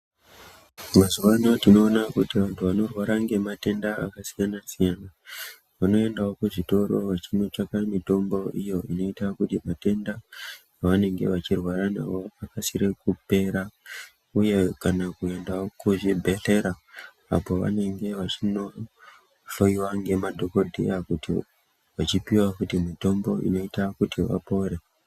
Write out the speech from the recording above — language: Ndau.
Mazuva ano tinoona kuti vantu vanorwara nge matenda aka siyana siyana vano endawo ku zvitoro vachino tsvaka mitombo iyo inoita kuti matenda pavanenge vachirwara nawo akasire kupera uye kana kuendawo ku zvibhedhlera apo vanenge vachino hloyiwa nge madhokodheya kuti wechipiwa kuti mutombo inoita kuti vapore.